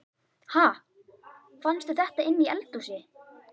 Ha! Fannstu þetta inni í eldhúsi?